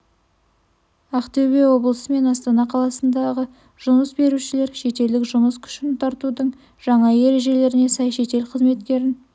ақтөбе облысы мен астана қаласындағы жұмыс берушілер шетелдік жұмыс күшін тартудың жаңа ережелеріне сай шетел қызметкерін